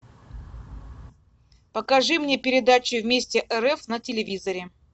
покажи мне передачу вместе рф на телевизоре